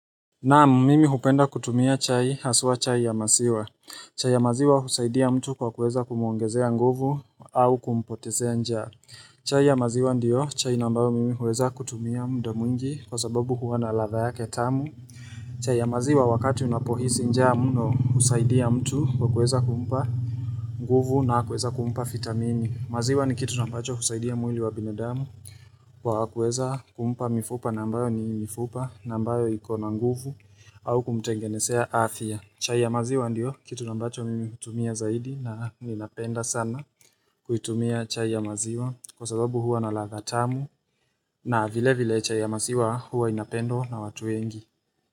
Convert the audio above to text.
Naam mimi hupenda kutumia chai haswa chai ya maziwa chai ya maziwa husaidia mtu kwa kuweza kumwongezea nguvu au kumpotezea njaa chai ya maziwa ndio chai na ambayo mimi huweza kutumia mda mwingi kwa sababu huwa na radhaa yake tamu chai ya maziwa wakati unapohisi njaa mno husaidia mtu kwa kuweza kumpa nguvu na kueza kumpa vitamini maziwa ni kitu na ambacho husaidia mwili wa binadamu Kwa kuweza kumpa mifupa na ambayo ni mifupa na ambayo ikona nguvu au kumtengenezea afya. Chai ya maziwa ndio, kitu na ambacho mimi hutumia zaidi na ninapenda sana kuitumia chai ya maziwa kwa sababu huwa na radha tamu na vile vile chai ya maziwa huwa inapendwa na watu wengi.